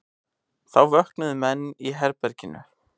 Þá vöknuðu menn í herberginu.